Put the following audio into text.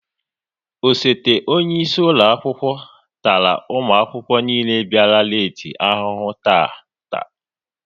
Osote onyeisi ụlọakwụkwọ tara ụmụakwụkwọ niile bịara leeti ahụhụ taata